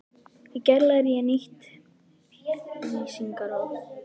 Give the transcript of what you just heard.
Í gær lærði ég nýtt lýsingarorð.